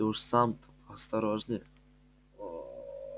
ты уж сам-то поосторожнее